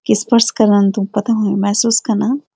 कि स्पर्श करण त पता हुयूं महसूस कना।